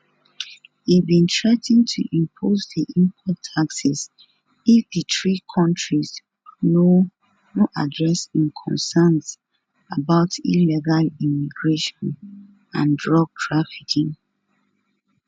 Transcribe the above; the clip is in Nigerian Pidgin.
e bin threa ten to impose di import taxes if di three kontris no no address im concerns about illegal immigration and drug trafficking